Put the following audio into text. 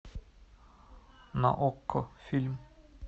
на окко фильм